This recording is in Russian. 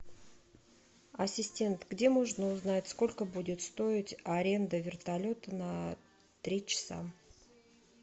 ассистент где можно узнать сколько будет стоить аренда вертолета на три часа